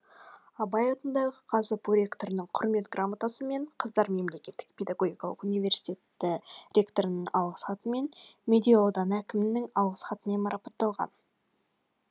абай атындағы қазұпу ректорының құрмет грамотасымен қыздар мемлекеттік педагогикалық университеті ректорының алғыс хатымен медеу ауданы әкімдігінің алғыс хатымен марапатталған